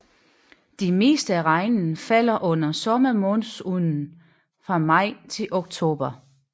Det meste af regnen falder under sommermonsunen fra maj til oktober